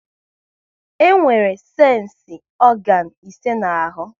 E nwere sensi ọganu ise n'ahụ